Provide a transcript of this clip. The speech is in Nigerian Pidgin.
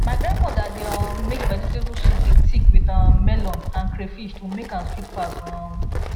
my grandmother dey um make vegetable soup dey thick with um melon and crayfish to make am sweet pass um